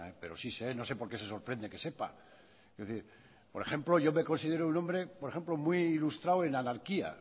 pero si sé no sé por qué se sorprende que sepa es decir por ejemplo yo me considero un hombre muy ilustrado en anarquía